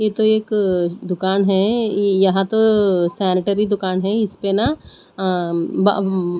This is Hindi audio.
ये तो एक दुकान है यहां तो सैनिटरी दुकान है इसपे ना --